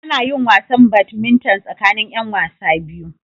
Ana yin wasan Badminton tsakanin 'yan wasa biyu.